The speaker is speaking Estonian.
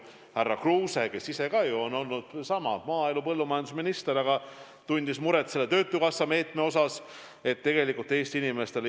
Härra Kruuse on ise ka olnud maaelu- või põllumajandusminister ja ta tunneb muret selle töötukassa meetme pärast.